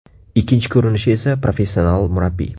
Ikkinchi ko‘rinishi esa professional murabbiy.